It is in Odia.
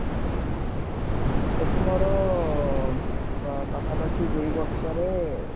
ସେଠି ମୋର ପାଖାପାଖି ଡି ବର୍ଷରେ